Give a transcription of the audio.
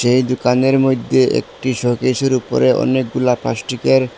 এই দুকানের মইধ্যে একটি শোকেসের উপরে অনেকগুলা প্লাস্টিকের--